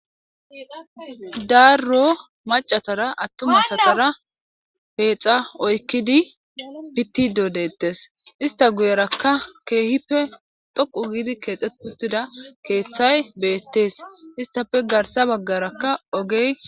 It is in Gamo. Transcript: Darro macatara attuma satara peexa oykkidi pittido deettes ista guyerakka keehippe dhoqu giidi keexe putida keeththay beettees istafe garsa baggarakka ogey